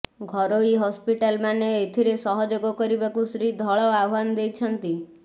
ଘରୋଇ ହସ୍ପିଟାଲମାନେ ଏଥିରେ ସହଯୋଗ କରିବାକୁ ଶ୍ରୀ ଧଳ ଆହ୍ୱାନ ଦେଇଛନ୍ତି